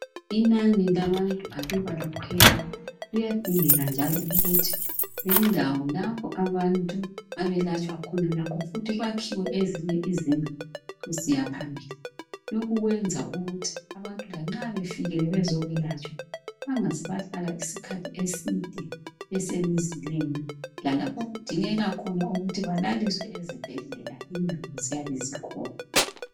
Inani labantu aluba likhwela, kuyadingela njalo ukuthi indawo lapho abantu abelatshwa khona, lakho futhi kwakhiwe ezinye izindlu kusiya phambili. Lokhu kwenza ukuthi abantu lanxa befikile bezokwelatshwa bangaze bahlala isikhathi eside besemzileni, lalapho okudingeka khona ukuthi balaliswe ezibhedlela indawo ziyabe zikhona.